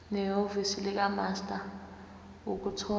nehhovisi likamaster ukuthola